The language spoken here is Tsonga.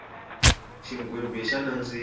xigwimbhi xa nandziha